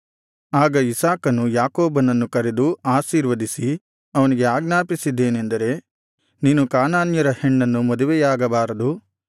ಆಗ ಇಸಾಕನು ಯಾಕೋಬನನ್ನು ಕರೆದು ಆಶೀರ್ವದಿಸಿ ಅವನಿಗೆ ಆಜ್ಞಾಪಿಸಿದ್ದೇನೆಂದರೆ ನೀನು ಕಾನಾನ್ಯರ ಹೆಣ್ಣನ್ನು ಮದುವೆಯಾಗಬಾರದು